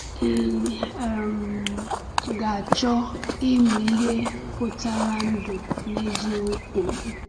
Ị um ga-achọ ịmụ ihe pụtara ndụ n’eziokwu?